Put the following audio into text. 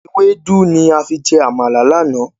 Ewédú ni a fi jẹ Àmàlà láánaà.